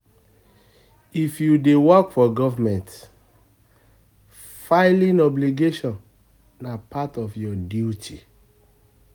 If you dey work for government, filing obligation na part of your duty.